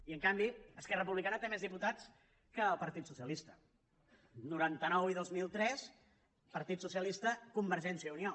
i en canvi esquerra republicana té més diputats que el partit socialista noranta nou i dos mil tres partit socialista convergència i unió